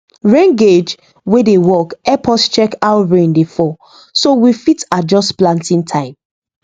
rain gauge wey dey work help us check how rain dey fall so we fit adjust planting time